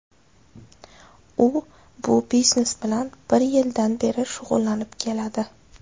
U bu biznes bilan bir yildan beri shug‘ullanib keladi.